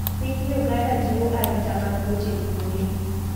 Piny Uganda jiwo arita mag weche bunge.